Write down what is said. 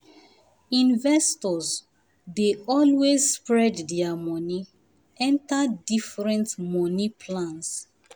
investors dey always spread their money enter different money plans